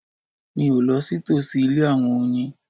Mi o lọ sí tòsí ilé àwọn oyin